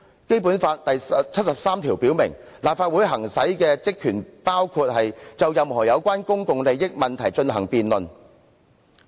《基本法》第七十三條表明立法會行使的職權包括"就任何有關公共利益問題進行辯論"。